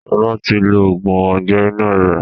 Sọlá tí lo oògùn Ọgbẹ́ inú rẹ̀